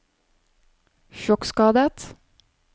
sjokkskadet